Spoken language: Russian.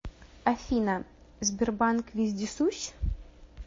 афина сбербанк вездесущ